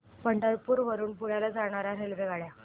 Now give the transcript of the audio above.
पंढरपूर वरून पुण्याला जाणार्या रेल्वेगाड्या